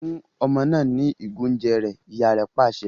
Fún ọmọ náà ní igo oúnjẹ rẹ! ìyá rẹ pàṣẹ